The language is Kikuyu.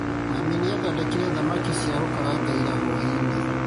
Mami nĩathondekire thamaki cia gũkaranga ira hwaĩ-inĩ